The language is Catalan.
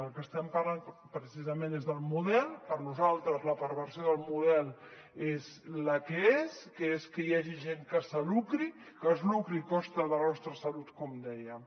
del que estem parlant precisament és del model per nosaltres la perversió del model és la que és que és que hi hagi gent que es lucri a costa de la nostra salut com dèiem